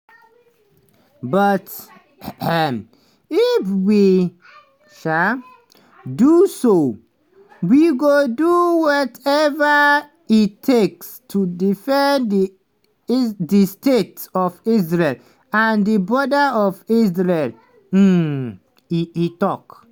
but if we um do so we go do wateva e takes to defend di state of israel and di border of israel" um e e tok.